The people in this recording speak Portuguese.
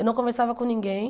Eu não conversava com ninguém.